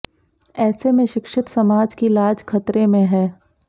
ऐसे में शिक्षित समाज की लाज खतरे में है